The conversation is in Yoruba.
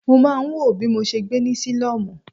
Mo máa ń wòó bí mo ṣe gbé ní sílọ́mù?